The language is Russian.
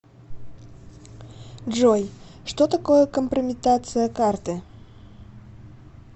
джой что такое компрометация карты